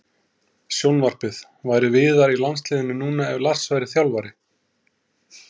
Sjónvarpið: Væri Viðar í landsliðinu núna ef Lars væri þjálfari?